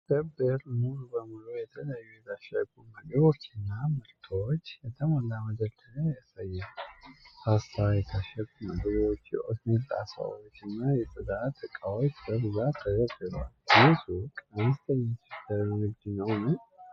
መደብር ሙሉ በሙሉ በተለያዩ የታሸጉ ምግቦችና ምርቶች የተሞላ መደርደሪያ ያሳያል። ፓስታ፣ የታሸጉ ምግቦች፣ የኦትሚል ጣሳዎች እና የጽዳት ዕቃዎች በብዛት ተደርድረዋል። ይህ ሱቅ አነስተኛ የችርቻሮ ንግድ ነው?